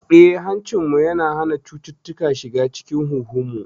Eh, hancinmu yana hana cututtuka shiga cikin huhunmu.